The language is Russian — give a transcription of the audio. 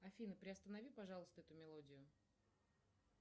афина приостанови пожалуйста эту мелодию